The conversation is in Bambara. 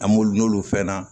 An b'olu n'olu fɛn na